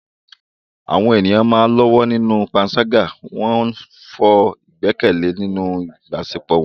Àwọn ènìyàn ń lọ́wọ́ nínú panṣágà, wọ́n ń fọ́ ìgbẹ́kẹ̀lé nínú ìbáṣepọ̀ wọn.